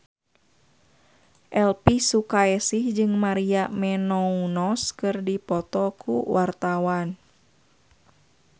Elvi Sukaesih jeung Maria Menounos keur dipoto ku wartawan